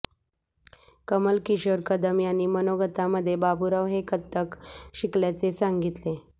कमलकिशोर कदम यांनी मनोगतामध्ये बाबूराव हे कथ्थक शिकल्याचे सांगितले